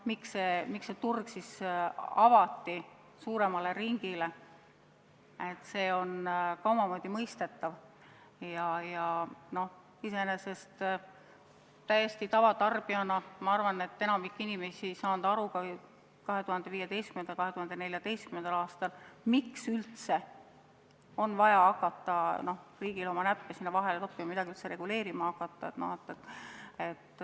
Miks turg avati suuremale ringile, on omamoodi mõistetav, aga täiesti tavalise tarbijana ma arvan, et enamik inimesi ei saanud ka 2014.–2015. aastal aru, miks üldse on vaja riigil oma näppe sinna vahele toppima, midagi üldse reguleerima hakata.